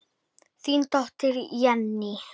Þín dóttir, Jenný.